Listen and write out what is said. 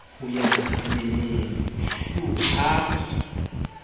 ho ya ditameneng shu ha